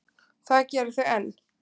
Það gera þau enn.